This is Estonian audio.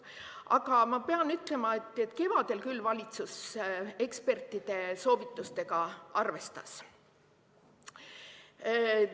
Aga ma pean ütlema, et kevadel küll valitsus ekspertide soovitustega arvestas.